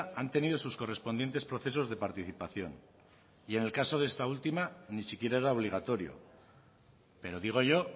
han tenido sus correspondientes procesos de participación y en el caso de esta última ni siquiera era obligatorio pero digo yo